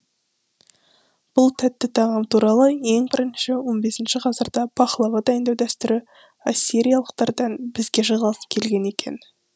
бұл тәтті тағам туралы ең бірінші он бесінші ғасырда пахлава дайындау дәстүрі ассириялықтардан бізге жалғасып келген екен